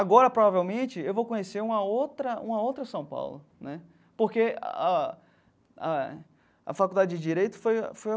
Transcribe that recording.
Agora, provavelmente, eu vou conhecer uma outra uma outra São Paulo né, porque a a a Faculdade de Direito foi foi.